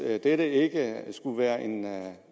at dette ikke skulle være